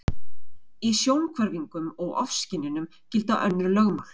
Í sjónhverfingum og ofskynjunum gilda önnur lögmál.